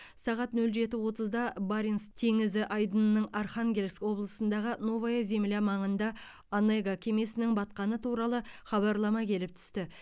сағат нөл жеті отызда баренц теңізі айдынының архангельск облысындағы новая земля маңында онега кемесінің батқаны туралы хабарлама келіп түсті